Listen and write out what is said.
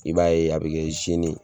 I b'a ye a bi kɛ zeni ye